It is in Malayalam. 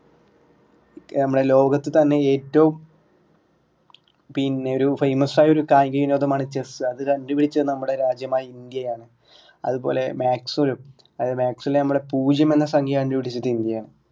നമ്മളെ ലോകത്ത് തന്നെ ഏറ്റവും പിന്നെ ഒരു famous ആയൊരു കായിക വിനോദമാണ് ചെസ്സ് അത് കണ്ടുപിടിച്ചത് നമ്മുടെ രാജ്യമായ ഇന്ത്യ ആണ്. അതുപോലെ maths ലും അതായത് maths ലെ നമ്മളെ പൂജ്യം എന്ന സംഖ്യ കണ്ടുപിടിച്ചത് ഇന്ത്യയാണ്.